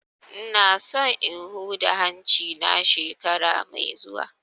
Ina so in huda hanci na shekara mai zuwa